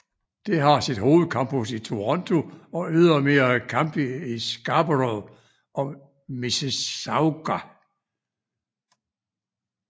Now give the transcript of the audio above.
Det har sit hovedcampus i Toronto og ydermere campi i Scarborough og Mississauga